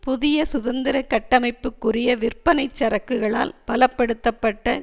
புதிய சுதந்திர கட்டமைப்புக்குரிய விற்பனைச் சரக்குகளால் பலப்படுத்தப்பட்ட